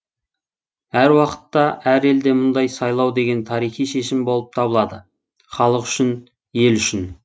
әр уақытта әр елде мұндай сайлау деген тарихи шешім болып табылады халық үшін ел үшін